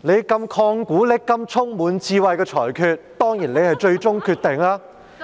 主席，你如此曠古爍今、充滿智慧的裁決，當然是最終決定，但